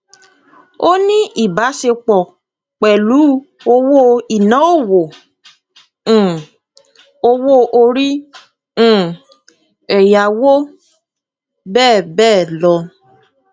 ó ní ìbáṣepọ pẹlú owó iná òwò um owó orí um ẹyáwó bbl